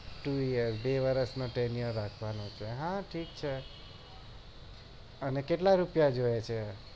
two year બે વરસ થી વધવા નો છે અને કેટલા રૂપિયા જોઈએ એ છે